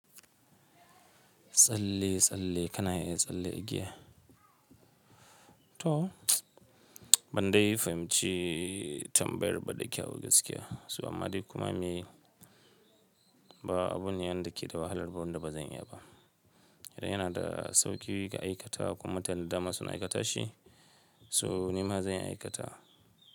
Tsalle tsalle kana iya tsalle igiya. To, ban dai fahimci tambayar ba da kyawu gaskiya. Saboda kuma me, ba abun yan da ke da wahalar wanda ba zan iya ba. Idan yana da sauƙi ka aikata kuma tanda masu na aikata shi, so nima zan aikata.